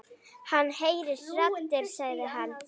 Hann heyrir raddir sagði hann.